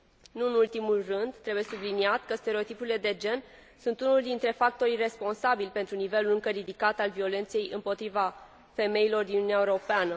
Nu în ultimul rând, trebuie subliniat că stereotipurile de gen sunt unul dintre factorii responsabili pentru nivelul încă ridicat al violenței împotriva femeilor din Uniunea Europeană.